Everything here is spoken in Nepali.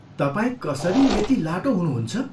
तपाईँ कसरी यति लाटो हुनुहुन्छ?